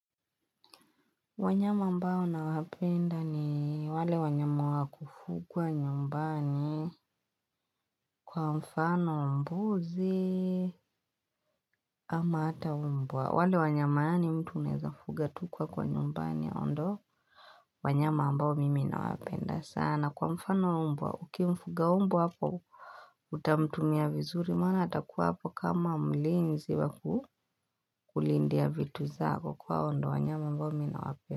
Wanyama ambao nawapenda, ni wale wanyama wa kufugwa nyumbani kwa mfano mbuzi, ama ata umbwa. Wale wanyama yani mtu unaezafuga tu kwako nyumbani ndio wanyama ambao mimi nawapenda sana. Kwa mfano umbwa uki mfuga umbu hapo utamtumia vizuri maana atakuwa hapo kama mlinzi wa kulindia vitu zako kwa ndio wanyama ambao mimi nawapenda.